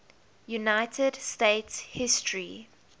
united states history